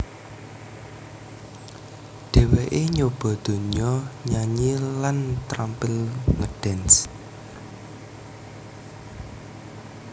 Dheweké nyoba dunya nyanyi lan tampil ngedance